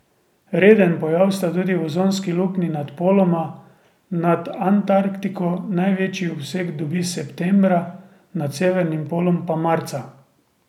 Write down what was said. Reden pojav sta tudi ozonski luknji nad poloma, nad Antarktiko največji obseg dobi septembra, nad severnim polom pa marca.